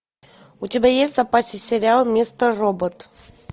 у тебя есть в запасе сериал мистер робот